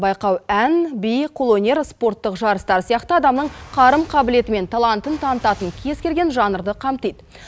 байқау ән би қолөнер спорттық жарыстар сияқты адамның қарым қабілеті мен талантын танытатын кез келген жанрды қамтиды